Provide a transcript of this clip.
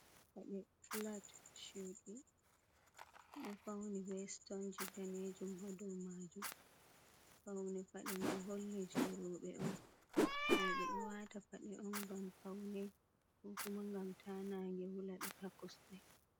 Pade flat Shu ɗo fauni be stonji danejum hadow majum paune paɗe mai holli je roɓe on roɓe ɗo wata paɗe on ngam paune kokuma ngam ta na nge wula be ha kosde maɓbe.